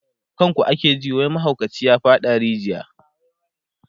kan ku ake ji wai mahaukaci ya faɗa a rijiya